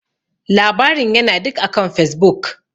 Labarin ya na duk akan Facebook.